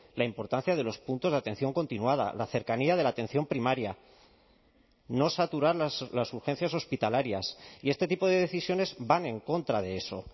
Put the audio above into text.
la importancia de los puntos de atención continuada la cercanía de la atención primaria no saturar las urgencias hospitalarias y este tipo de decisiones van en contra de eso